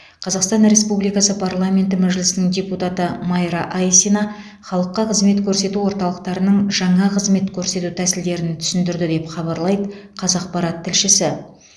қазақстан республикасы парламенті мәжілісінің депутаты майра айсина халыққа қызмет көрсету орталықтарының жаңа қызмет көрсету тәсілдерін түсіндірді деп хабарлайды қазақпарат тілшісі